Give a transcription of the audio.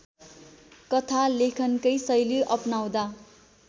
कथालेखनकै शैली अपनाउँदा